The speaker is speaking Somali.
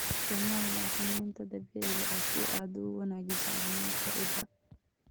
Isticmaal bacriminta dabiiciga ah si aad u wanaajiso caafimaadka ciidda.